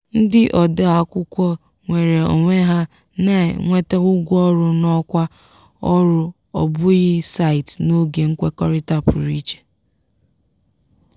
ndị ode akwụkwọ nweere onwe ha na-enweta ụgwọ ọrụ n’ọkwa ọrụ ọ bụghị site n’oge nkwekọrịta pụrụ iche.